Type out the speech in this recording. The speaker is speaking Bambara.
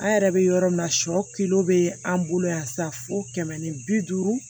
An yɛrɛ bɛ yɔrɔ min na sɔ bɛ an bolo yan sa fo kɛmɛ ni bi duuru